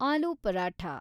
ಆಲೂ paratha